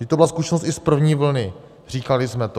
Vždyť to byla zkušenost i z první vlny, říkali jsme to.